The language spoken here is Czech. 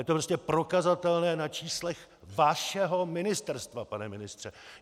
Je to prostě prokazatelné na číslech vašeho ministerstva, pane ministře.